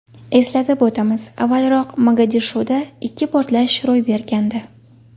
Eslatib o‘tamiz, avvalroq Mogadishoda ikki portlash ro‘y bergandi.